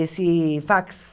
Esse fax.